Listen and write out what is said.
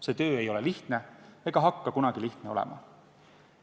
See töö ei ole lihtne ega hakka kunagi lihtne olema.